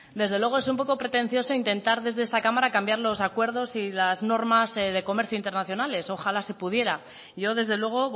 desde luego es un poco pretencioso intentar desde esta cámara cambiar los acuerdos y las normas de comercio internacionales ojalá se pudiera yo desde luego